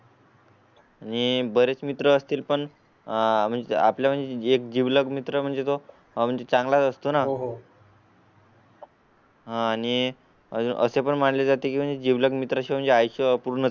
आणि बरेच मित्र असतील. पण आह म्हणजे आपल्या म्हणजे एक जिवलग मित्र म्हणजे तो म्हणजे चांगला असतो ना? हो. हा आणि असे पण मानले जाते की माझे जिवलग मित्र म्हणजेच अपूर्ण